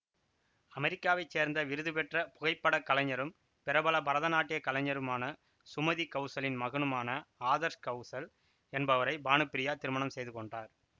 அமரிக்காவைச் சேர்ந்த விருதுபெற்ற புகைப்படக்கலைஞரும் பிரபல பரதநாட்டிய கலைஞரான சுமதி கவுசலின் மகனுமான ஆதர்ஷ் கவுசல் என்பவரை பானுப்ரியா திருமணம் செய்து கொண்டார்